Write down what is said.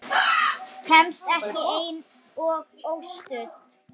Kemst ekki ein og óstudd!